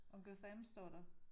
Uncle Sam står der